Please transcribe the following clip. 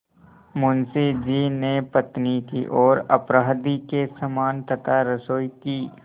मुंशी जी ने पत्नी की ओर अपराधी के समान तथा रसोई की